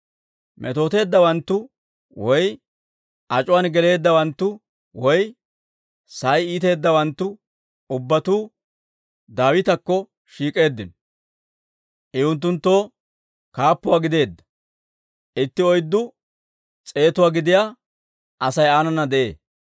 Metooteeddawanttu, woy ac'uwan geleeddawanttu, woy sa'ay iiteeddawanttu ubbatuu Daawitakko shiik'eeddino; I unttunttoo kaappuwaa gideedda. Itti oyddu s'eetuwaa gidiyaa Asay aanana de'ee.